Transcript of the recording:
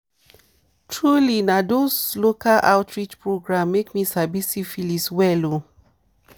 truely na those local outreach program make me sabi syphilis well o